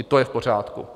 I to je v pořádku.